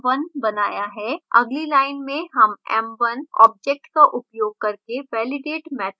अगली line में हम m1 object का उपयोग करके validate मैथड लागू करते हैं